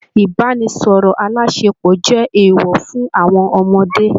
Ibanisọrọ alásèpọ̀ jẹ eewọ fún àwọn ọmọdé.